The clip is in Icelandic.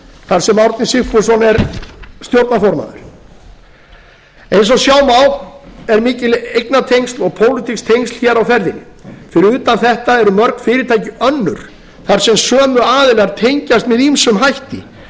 þar sem árni sigfússon er stjórnarformaður eins og sjá má eru mikil eignatengsl og pólitísk tengsl hér á ferðinni fyrir utan þetta eru mörg fyrirtæki önnur þar sem sömu aðilar tengjast með ýmsum hætti